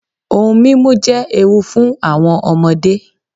Ohun mímú jẹ́ ewu fún àwọn ọmọdé.